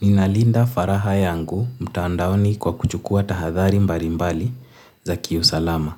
Ninalinda faragha yangu mtaandaoni kwa kuchukua tahadhari mbalimbali za kiusalama.